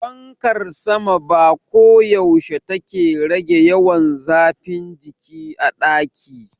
Fankar sama ba koyaushe take rage yawan zafin jiki a daki.